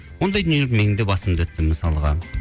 ондай дүниелер менің де басымда өтті мысалға